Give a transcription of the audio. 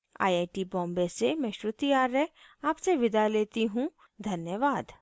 I I T Bombay से मैं श्रुति आर्य आपसे विदा लेती you धन्यवाद